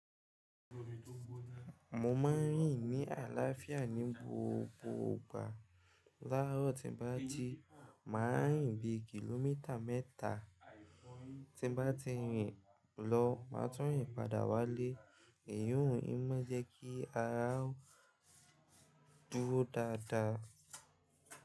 Mo máa ń rìn ní àlàáfíà ní gbogbo ìgbà. Lárọ́ tí n bá ti, màá rìn bí kìlómítà mẹ́ta. Tí n bá ti rìn lọ, màá tún rìn padà wálé. Èyí òun ń mú jẹ́ kí ara dúró dáadáa.